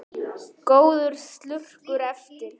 Góður slurkur eftir.